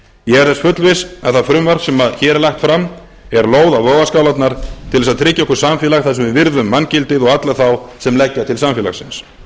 ég er þess fullviss að það frumvarp sem hér er lagt fram er lóð á vogarskálarnar til að tryggja okkur samfélag þar sem við virðum manngildið og alla þá sem leggja til samfélagsins við